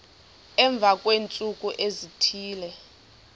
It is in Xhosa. emva kweentsuku ezithile